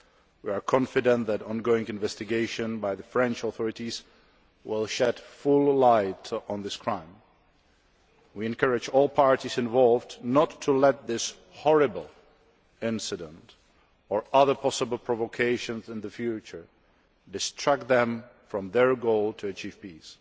We are confident that ongoing investigations by the French authorities will shed full light on this crime. We encourage all parties involved not to let this horrible incident or other possible provocations in the future distract them from their goal to achieve peace.